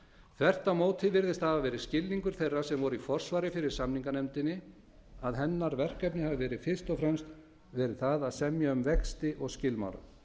á móti virðist það hafa verið skilningur þeirra sem voru í forsvari fyrir samninganefndinni að hennar verkefni hafi fyrst og fremst verið það að semja um vexti og skilmála